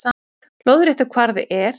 Lóðréttur kvarði er